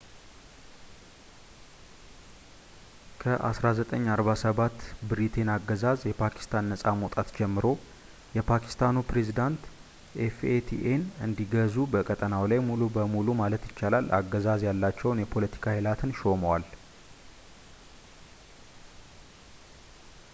"ከ1947 ብሪቴይን አገዛዝ የፓኪስታን ነጻ መውጣት ጀምሮ፣ የፓኪስታኑ ፕሬዝደንት fataን እንዲገዙ በቀጠናው ላይ ሙሉ በሙሉ ማለት ይቻላል አገዛዝ ያላቸውን የ”ፖለቲካ ኃይላትን” ሾመዋል።